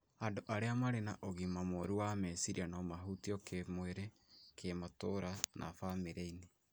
Andũ arĩa marĩ na ũgima mũru wa meciria no mahutio kĩĩmwĩrĩ, kĩmatũũra na bamĩrĩ-inĩ.